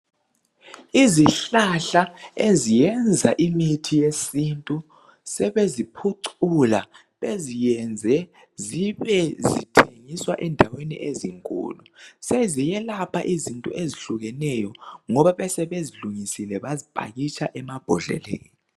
Izihlahla eziyenza imithi yesintu sebeziphucula beziyenze zibe zithengiswa endaweni ezinkulu seziyelapha izinto ezihlukeneyo ngoba sebezilungisile bazipakitsha emabhodleleni.